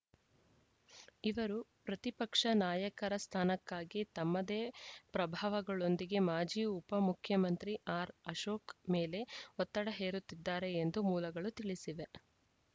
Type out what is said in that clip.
ಇವರು ಪ್ರತಿಪಕ್ಷ ನಾಯಕರ ಸ್ಥಾನಕ್ಕಾಗಿ ತಮ್ಮದೇ ಪ್ರಭಾವಗಳೊಂದಿಗೆ ಮಾಜಿ ಉಪ ಮುಖ್ಯಮಂತ್ರಿ ಆರ್‌ಅಶೋಕ್‌ ಮೇಲೆ ಒತ್ತಡ ಹೇರುತ್ತಿದ್ದಾರೆ ಎಂದು ಮೂಲಗಳು ತಿಳಿಸಿವೆ